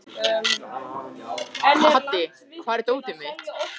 Haddi, hvar er dótið mitt?